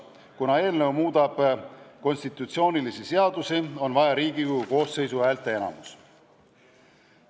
Kuna eelnõu muudab konstitutsioonilisi seadusi, on selle vastuvõtmiseks vaja Riigikogu koosseisu häälteenamust.